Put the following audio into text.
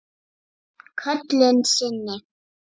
Köllun sinni?